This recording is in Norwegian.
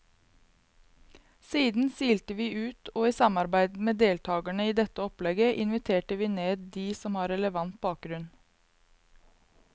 Siden silte vi ut, og i samarbeid med deltagerne i dette opplegget inviterte vi ned de som har relevant bakgrunn.